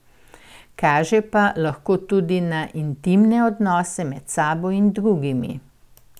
Kaže pa lahko tudi na intimne odnose med sabo in drugimi.